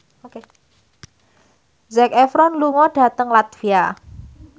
Zac Efron lunga dhateng latvia